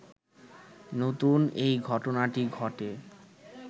নতুন এই ঘটনাটি ঘটে